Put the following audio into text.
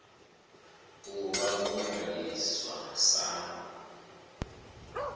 u vha vho ṅwaliswa sa